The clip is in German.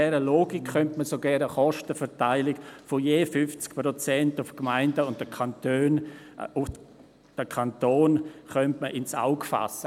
Und mit dieser Logik könnte man sogar eine Kostenverteilung von je 50 Prozent für die Gemeinden und den Kanton ins Auge fassen.